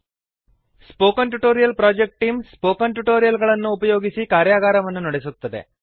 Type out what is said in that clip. spoken tutorial project team spoken tutorial ಗಳನ್ನು ಉಪಯೋಗಿಸಿ ಕಾರ್ಯಗಾರವನ್ನು ನಡೆಸುತ್ತದೆ